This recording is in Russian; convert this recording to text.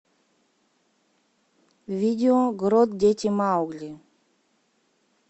видео грот дети маугли